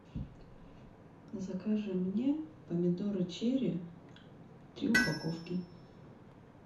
закажи мне помидоры черри три упаковки